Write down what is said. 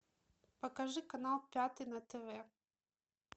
покажи канал пятый на тв